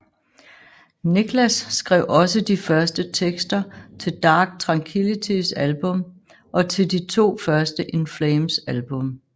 Niklas skrev også de første tekster til Dark Tranquillitys album og til de to første In Flames album